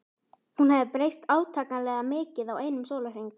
Hún hafði breyst átakanlega mikið á einum sólarhring.